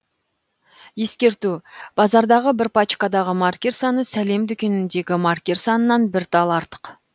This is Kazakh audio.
ескерту базардағы бір пачкадағы маркер саны сәлем дүкеніндегі маркер санынан бір тал артық